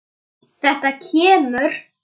Það er kominn skóli.